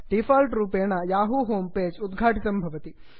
default रूपेण Yahoo इति home page उद्घाटितं भवति